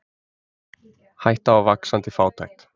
Hætta á vaxandi fátækt